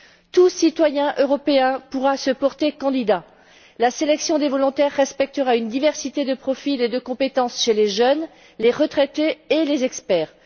Tout citoyen européen pourra se porter candidat. La sélection des volontaires respectera une diversité de profils et de compétences chez les jeunes, les retraités et les experts.